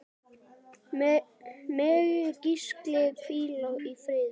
Megi Gísli hvíla í friði.